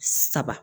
Saba